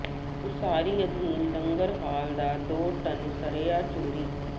ਉਸਾਰੀ ਅਧੀਨ ਲੰਗਰ ਹਾਲ ਦਾ ਦੋ ਟਨ ਸਰੀਆ ਚੋਰੀ